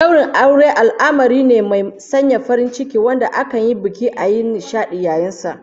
Daurin aure al'amari me mai sanya farin ciki wanda akan yi buki a yi nishadi yayin sa